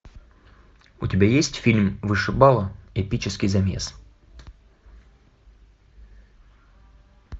у тебя есть фильм вышибала эпический замес